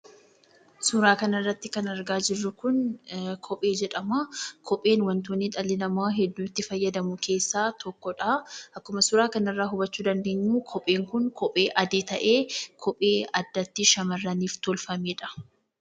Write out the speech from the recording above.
Suuraa kanarratti kan argaa jirru kun kophee jedhama. Kopheen wantoota dhalli namaa hedduu itti fayyadamu keessaa tokko dha. Akkuma suuraa kana irraa hubachuu dandeenyu kopheen kun kophee adii ta'ee, kophee addatti shamarraniif tolfameedha.